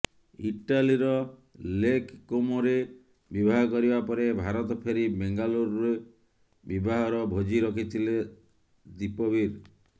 ଇଟାଲୀର ଲେକ୍ କୋମୋରେ ବିବାହ କରିବା ପରେ ଭାରତ ଫେରି ବେଙ୍ଗାଲୁରୁରେ ବିବାହର ଭୋଜି ରଖିଥିଲେ ଦୀପବୀର